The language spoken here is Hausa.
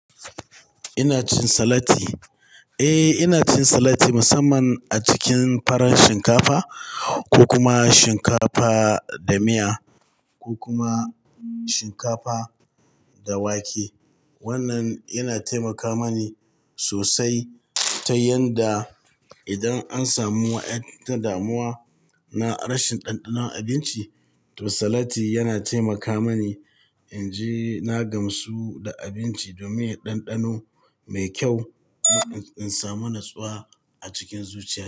Ina cin salati. Eh, ina cin salati musamman a cikin farar shinkafa ko kuma shinkafa da miya ko kuma shinkafa da wake. Wannan yana taimaka mani sosai ta yanda idan an samu wa ƴa ta damuwa na rashin ɗanɗanon abinci, to salati yana taimaka mani in je na gamsu da abinci domin ɗanɗano mai kyau in samu natsuwa a cikin zuciya.